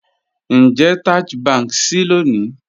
Ńjẹ̀ Taj Bank ṣíì lónì?